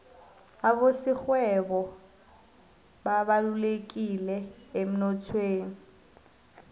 abasorhwebo babalulekileemnothweni